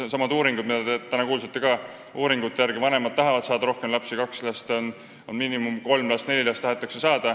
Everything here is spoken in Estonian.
Nendesamade uuringute järgi, mille kohta te ka täna kuulsite, tahavad vanemad saada rohkem lapsi: kaks last on miinimum, tahetakse saada kolm-neli last.